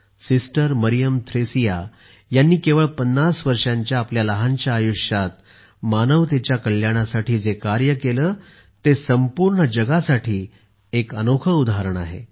sister Mariam Thresia यांनी केवळ पन्नास वर्षांच्या आपल्या लहानशा आयुष्यात मानवतेच्या कल्याणासाठी जे कार्य केले ते संपूर्ण जगासाठी एक अनोखे उदाहरण आहे